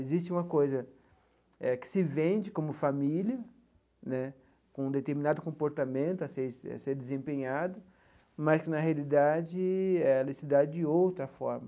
Existe uma coisa eh que se vende como família né, com um determinado comportamento a ser ser desempenhado, mas, na realidade, ela se dá de outra forma.